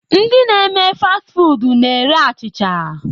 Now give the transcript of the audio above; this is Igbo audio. Ndi na eme fast foodu na-ere achịcha.